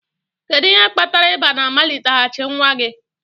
Kedu ihe kpatara ịba na-amaliteghachi nwa gị?